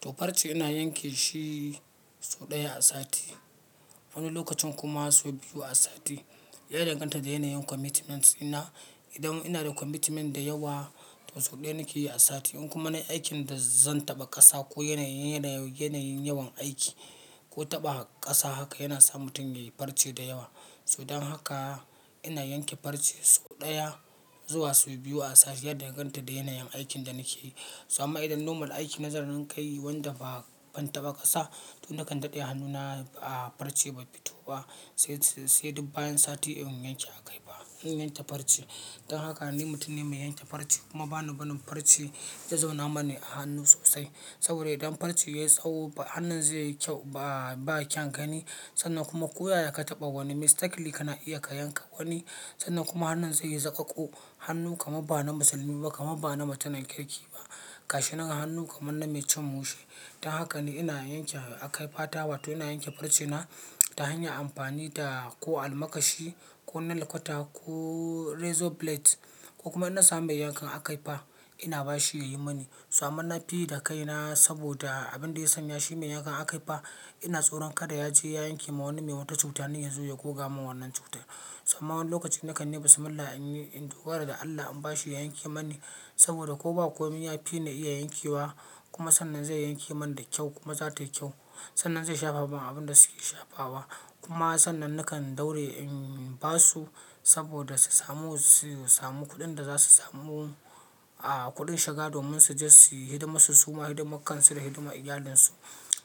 To farce ina yanke shi sau ɗaya a sati, wani lokacin kuma sau biyu a sati. Ya danganta da yanayin commitment ɗina. Idan ina da commitment da yawa, to sau ɗaya nake yi a sati. In kuma na aikin da zan taɓa ƙasa ko yanayin, yanayin yawan aiki ko taɓa ƙasa, haka yana sa mutum ya yi farce da yawa. So don haka ina yanke farce sau ɗaya zuwa sau biyu a sati, ya danganta da yanayin aikin da nake yi. So amma idan normal aiki na zanrin ƙayi wanda ba ban taɓa ƙasa, to nakan daɗe hannuna a farce bai fito ba, sai, sai duk bayan sati in yanke aka yi fa, in yanke farce. Don haka ni mutum ne mai yanke farce kuma ba ni barin farce ya zauna mani a hannu sosai. Saboda idan farce yayi tsawo ba hannun zaiyi kyau ba kyaun gani sannan kuma koyaya kataɓa wani mistakenly kana iya ka yanka wani sannan kuma hannun zaiyi zoƙoƙo hannu kaman bana musulmi ba kaman bana mutumin kirki ba. Kashi naga hannu kamar na mai cin mushe. Don haka ni ina yanke akaifata wato ina yanke farcena ta hanyan amfani da ko almakashi ko nail cutter ko. Razor blades ko kuma in na samu mai yankan akaifa ina ba shi ya yi mani. So amman na fi yi da kaina saboda abin da ya sanya shi mai yankan akaifa ina tsoron kada ya je ya yanke ma wani mai wata cuta, ni ya zo ya goga min wannan cutar. So amma wani lokacin nakan yibi similla in yi, in dogara da Allah in ba shi ya yanke mani saboda ko ba komai ya fi ni iya yankewa kuma sannan zai yanke mani da kyau kuma za ta yi kyau. Sannan zai shafa min abin da suke shafa wa kuma sannan nakan daure in basu saboda su samu su samu kuɗin da zasu samu a kuɗin shiga domin su je su yi hidiman su suma hidiman kansu da hidiman iyalinsu.